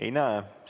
Ei näe sellist soovi.